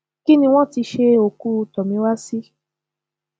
kí ni wọn ti ṣe òkú tomiwa sí